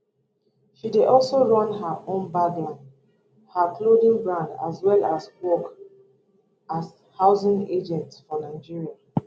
she dey also run her own bag line her clothing brand as well as work as housing agent for nigeria